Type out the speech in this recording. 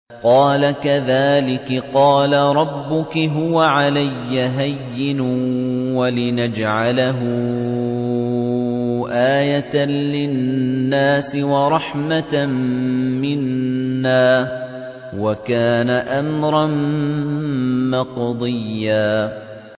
قَالَ كَذَٰلِكِ قَالَ رَبُّكِ هُوَ عَلَيَّ هَيِّنٌ ۖ وَلِنَجْعَلَهُ آيَةً لِّلنَّاسِ وَرَحْمَةً مِّنَّا ۚ وَكَانَ أَمْرًا مَّقْضِيًّا